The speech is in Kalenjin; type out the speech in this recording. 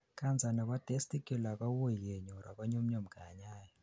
cancer nebo testicular kowuui kenyor ago nyumnyum kanyaet